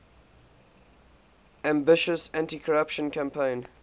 ambitious anticorruption campaign